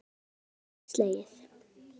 Það met verður ekki slegið.